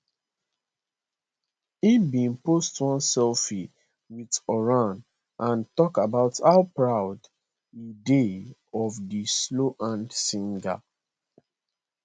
e bin post one selfie with horan and talk about how proud e dey of di slow hands singer